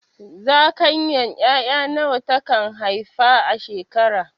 Zakayan ƴaƴa nawa ta kan haifa a shekara?